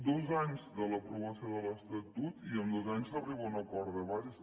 dos anys de l’aprovació de l’estatut i en dos anys s’arriba a un acord de bases